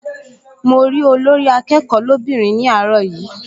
Mo rí Olórí-akẹ́kọ̀ọ́ lóbìnrin ní àárọ̀ yìí